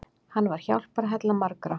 Hann var hjálparhella margra.